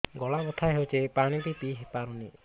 ଗଳା ବଥା ହଉଚି ପାଣି ବି ପିଇ ପାରୁନି